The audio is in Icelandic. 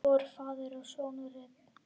Voru faðir og sonur einn?